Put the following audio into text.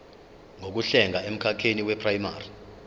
zokuhlenga emkhakheni weprayimari